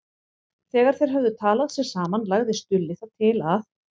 Þegar þeir höfðu talað sig saman lagði Stulli það til að